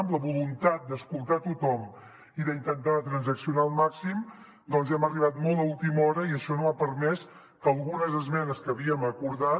amb la voluntat d’escoltar tothom i d’intentar transaccionar al màxim doncs hem arribat molt a última hora i això no ha permès que algunes esmenes que havíem acordat